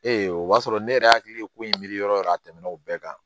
o b'a sɔrɔ ne yɛrɛ hakili ye ko in miiri yɔrɔ yɔrɔ a tɛmɛn'o bɛɛ kan